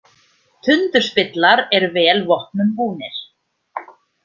Tundurspillar eru vel vopnum búnir.